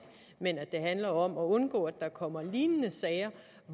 men at det handler om at undgå at der kommer lignende sager